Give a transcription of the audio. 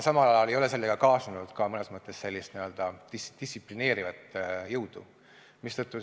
Samal ajal ei ole sellega kaasnenud mõnes mõttes distsiplineerivat jõudu.